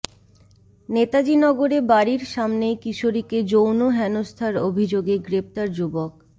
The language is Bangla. নেতাজিনগরে বাড়ির সামনেই কিশোরীকে যৌন হেনস্থার অভিযোগে গ্রেপ্তার যুবক